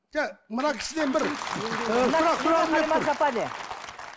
жоқ мына кісіден бір ыыы